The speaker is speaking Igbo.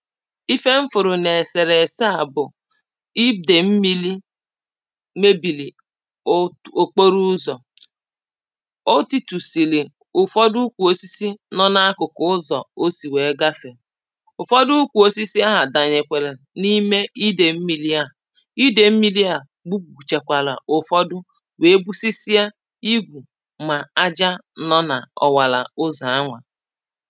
Ife m fụrụ na eserese a bụ̀ ide mmili mebili o okporo ụzọ o titusili ụfọdụ ukwu osisi nọ na akụkụ ụzọ o si wee gafē ụfọdụ ukwu osisi ahụ danyekwale na ime ide mmili a ide mmili à gbu gbuchakwala ụfọdụ wee gbusisia igwu ma aja nọ na ọwala ụzọ a nwa